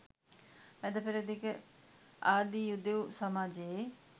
මැද පෙරදිග ආදී යුදෙවු සමාජයේ